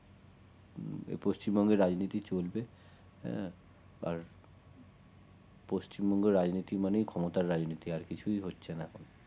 পশ্চিমবঙ্গের রাজনীতি চলবে আহ আর পশ্চিমবঙ্গের রাজনীতি মানে ক্ষমতার রাজনীতি আর কিছুই হচ্ছে না